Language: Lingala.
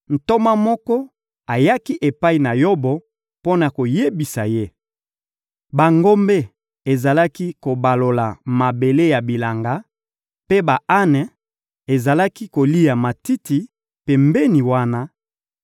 ntoma moko ayaki epai na Yobo mpo na koyebisa ye: «Bangombe ezalaki kobalola mabele ya bilanga, mpe ba-ane ezalaki kolia matiti pembeni wana;